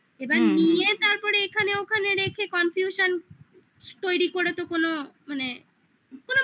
এবার নিয়ে তারপরে এখানে ওখানে রেখে confusion তৈরি করে তো কোনো মানে